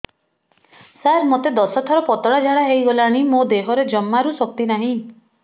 ସାର ମୋତେ ଦଶ ଥର ପତଳା ଝାଡା ହେଇଗଲାଣି ମୋ ଦେହରେ ଜମାରୁ ଶକ୍ତି ନାହିଁ